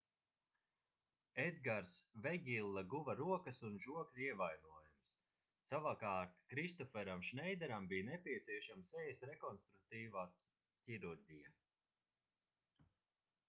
edgars vegilla guva rokas un žokļa ievainojumus savukārt kristoferam šneideram bija nepieciešama sejas rekonstruktīvā ķirurģija